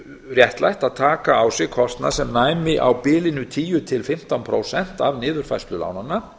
réttlætt að taka á sig kostnað sem næmi á bilinu tíu til fimmtán prósent af niðurfærslu lánanna